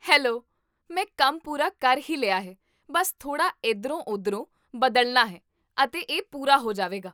hello, ਮੈ ਕੰਮ ਪੂਰਾ ਕਰ ਹੀ ਲਿਆ ਹੈ, ਬਸ ਥੋੜਾ ਇਧਰੋਂ ਉਧਰੋਂ ਬਦਲਣਾ ਹੈ ਅਤੇ ਇਹ ਪੂਰਾ ਹੋ ਜਾਵੇਗਾ